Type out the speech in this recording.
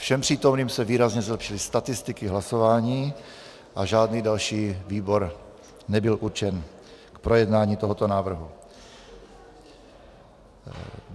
Všem přítomným se výrazně zlepšily statistiky hlasování a žádný další výbor nebyl určen k projednání tohoto návrhu.